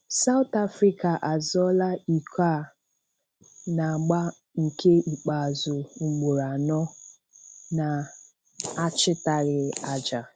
South Africa azọọ̀là iko a na-agbà nke ikpeazụ ugboro anọ na-achịtàghị aja.